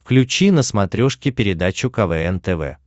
включи на смотрешке передачу квн тв